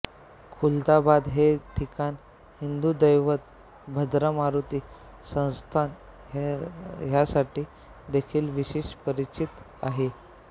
खुलदाबाद हे ठिकाण हिंदू दैवत भद्रा मारूती संस्थान ह्यासाठी देखील विशेष परिचित आहे